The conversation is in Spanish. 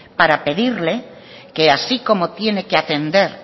para pedirle que así como tiene que atender